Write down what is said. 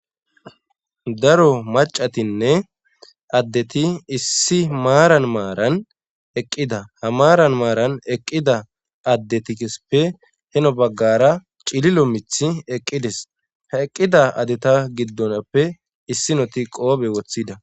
Daro macatinne addeti issi maaran maaran eqqida ha maaran maaran eqqida addetikesppe heno baggara cililo mith eqqides ha eqqida adeta giddonappe issinoti qoobe woththida.